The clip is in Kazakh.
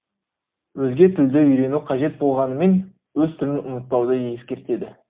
өзге тілді үйрену қажет болғанымен өз тілін ұмытпауды ескертеді